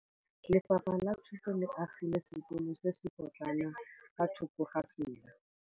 Lefapha la Thuto le agile sekôlô se se pôtlana fa thoko ga tsela.